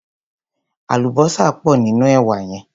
Àlùbósà pò nínú èwà yẹn.